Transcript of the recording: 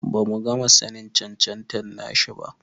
Bamu gama sanin cancanta nashi ba.